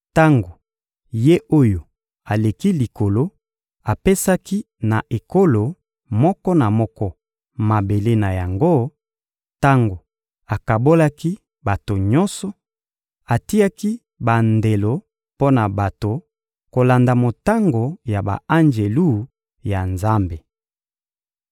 Tango Ye-Oyo-Aleki-Likolo apesaki na ekolo moko na moko mabele na yango, tango akabolaki bato nyonso, atiaki bandelo mpo na bato kolanda motango ya ba-anjelu ya Nzambe.